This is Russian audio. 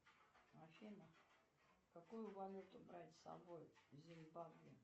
афина какую валюту брать с собой в зимбабве